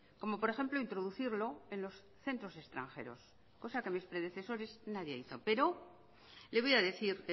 como por ejemplo introducirlo en los centros extranjeros cosa que de mis predecesores nadie hizo pero le voy a decir